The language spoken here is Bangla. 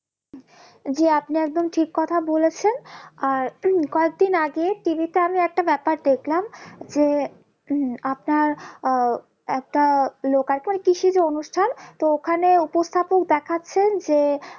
জি আপনি একদম ঠিক কথা বলেছেন আর কয়েকদিন আগে TV তে আমি একটা ব্যাপার দেখলাম যে আপনার আহ একটা লোকাচার কৃষিজ অনুষ্ঠান তো ওখানে উপস্থাপক দেখাচ্ছেন যে